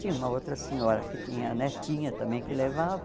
Tinha uma outra senhora que tinha a netinha também que levava.